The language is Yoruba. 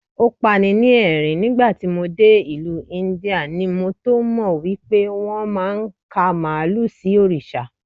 O pani ní ẹ̀rín, nígbàtí mo dé ìlú Íńdíà ni mo tómọ̀ wípé wón máa ń ka Màálù sí Òrìṣà.